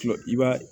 I b'a